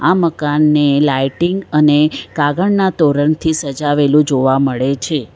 આ મકાનને લાઇટિંગ અને કાગળના તોરણ થી સજાવેલું જોવા મળે છે.